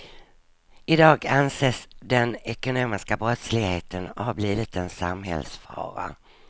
I dag anses den ekonomiska brottsligheten ha blivit en samhällsfara.